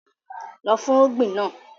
Lọ fúnrúgbìn náà!